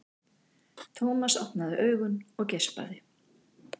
Thomas opnaði augun og geispaði.